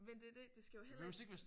Men det er det. Det skal jo heller ikke